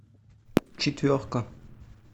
четверка